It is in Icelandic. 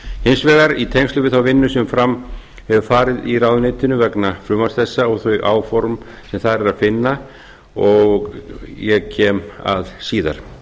hins vegar í tengslum við þá vinnu sem fram hefur farið í ráðuneytinu vegna frumvarps þetta og þau áform sem þar er að finna og ég kem að síðar